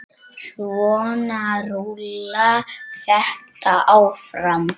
Svona rúllar þetta áfram.